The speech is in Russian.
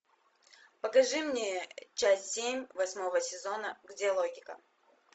покажи мне часть семь восьмого сезона где логика